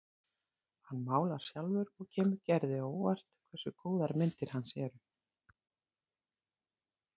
Hann málar sjálfur og kemur Gerði á óvart hversu góðar myndir hans eru.